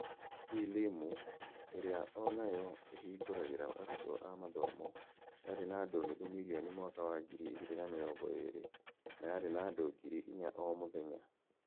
E-Limu, ĩrĩa o nayo ĩhingũragĩra arutwo a mathomo, yarĩ na andũ nuthu mirioni mwaka wa ngiri igĩrĩ na mĩrongo ĩĩrĩ, na yarĩ na andũ ngiri inya o mũthenya.